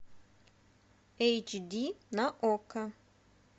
эйч ди на окко